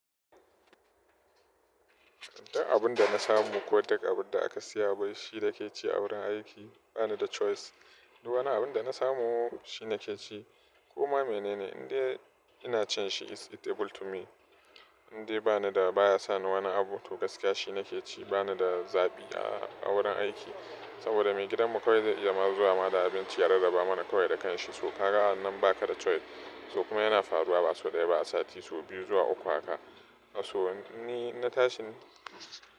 Duk abun da na samu ko duk abun da aka siya mun. Shi na ke ci a wurin aiki ba ni da choice. Duk wani abun da na samu shi na ke ci. Kuma menene? Inde ina cin shi is eatable to me. Inde bana da baya sa ni wani abu. To gaskiya shi na ke ci. Ba ni da zabi a wurin aiki. Saboda maigidanmu kawai zai iya ma zuwa ma da abinci ya raraba mana kawai da kan shi. So ka ga wannan ba ka da choice. To kuma yana faruwa ba sau ɗaya ba a sati so biyu zuwa uku haka. A so ni na tashi.